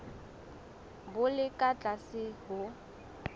bo le ka tlase ho